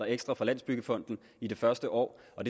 ekstra fra landsbyggefonden i det første år og